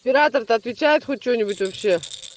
оператор то отвечает хоть что-нибудь вообще